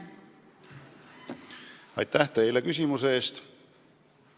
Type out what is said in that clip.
Aitäh teile küsimuse eest!